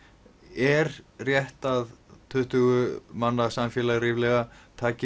er rétt að tuttugu manna samfélag ríflega taki